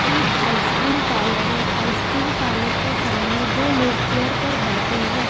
एक ice cream parlour है ice cream parlour के सामने दो लोग चेयर पर बैठे हैं।